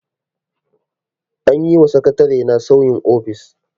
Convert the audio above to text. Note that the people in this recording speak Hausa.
An yi wa sakatarena sauyin ofis.